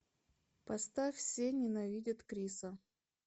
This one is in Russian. поставь все ненавидят криса